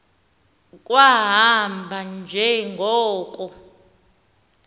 kwahamba nje ngoko